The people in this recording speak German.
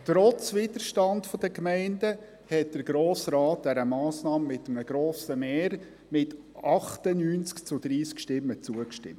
Trotz Widerstand seitens der Gemeinden stimmte der Grosse Rat dieser Massnahme mit einem grossen Mehr, mit 98 zu 30 Stimmen, zu.